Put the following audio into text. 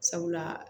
Sabula